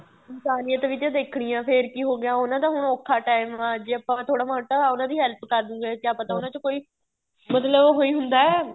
ਇਨਸਾਨੀਅਤ ਵੀ ਤਾਂ ਦੇਖਣੀ ਏ ਫ਼ੇਰ ਕੀ ਹੋ ਗਿਆ ਉਹਨਾ ਦਾ ਹੁਣ ਔਖਾ ਟੇਮ ਆ ਜ਼ੇ ਆਪਾਂ ਥੋੜਾ ਮੋਟਾ ਉਹਨਾ ਦੀ help ਕਰ ਦਉਂਗੇ ਕਿਹਾ ਪਤਾ ਉਹਨਾ ਚੋ ਕੋਈ ਮਤਲਬ ਉਹੀ ਹੁੰਦਾ